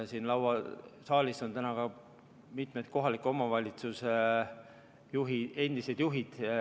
Siin saalis on täna mitmed kohalike omavalitsuste endised juhid.